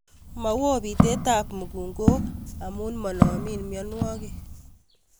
Mowo bitetab mukunkok amun monomin mionwokik.